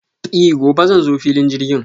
I gobe zan zo filin jirgin.